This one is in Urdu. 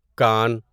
کان